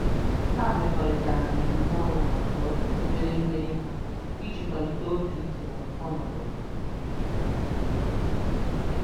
Ha mekọrịtara mmemme ọnụ maka obere mmeri ha iji kwalite obi ike na ọnọdụ ha.